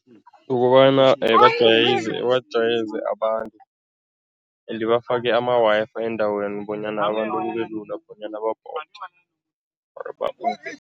Ukobana bajwayeze bajwayeze abantu ende bafake ama-Wi-Fi endaweni bonyana abantu kube lula bonyana or